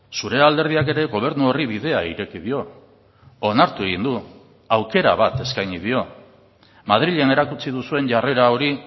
zure alderdiak ere gobernu horri bidea ireki dio onartu egin du aukera bat eskaini dio madrilen erakutsi duzuen jarrera hori